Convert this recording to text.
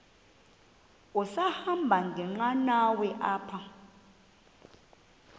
sahamba ngenqanawa apha